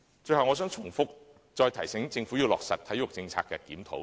最後，我想再重複提醒政府要落實對體育政策的檢討。